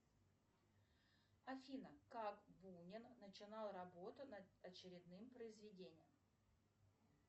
афина как бунин начинал работу над очередным произведением